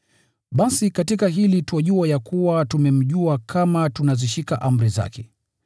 Basi katika hili twajua ya kuwa tumemjua, tukizishika amri zake.